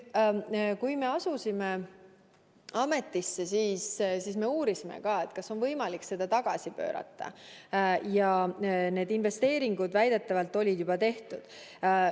Kui me asusime ametisse, siis me uurisime, kas on võimalik seda tagasi pöörata, aga need investeeringud väidetavalt olid juba tehtud.